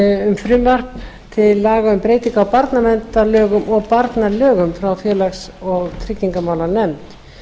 um frumvarp til laga um breytingar á barnaverndarlögum og barnalögum frá félags og tryggingamálanefnd